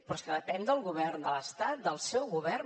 però és que depèn del govern de l’estat del seu govern